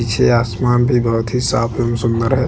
पीछे आसमान भी बहोत ही साफ एवं सुंदर है।